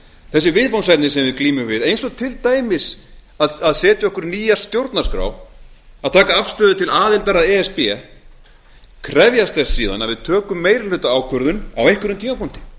þessi viðfangsefni sem við glímum við eins og til það að setja okkur nýja stjórnarskrá og að taka afstöðu til e s b aðildar krefjast þess síðan að við tökum meirihlutaákvörðun á einhverjum tímapunkti